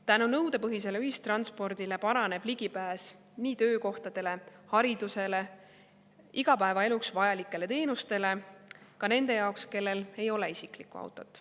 Tänu nõudepõhisele ühistranspordile paraneb ligipääs töökohtadele, haridusele, igapäevaeluks vajalikele teenustele ka nende jaoks, kellel ei ole isiklikku autot.